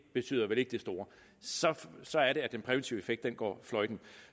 betyder vel ikke det store så er det den præventive effekt går fløjten